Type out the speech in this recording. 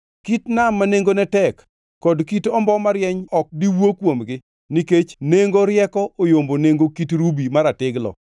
Kit nam ma nengone tek kod kit ombo marieny ok di wuo kuomgi nikech nengo rieko oyombo nengo kit rubi maratiglo.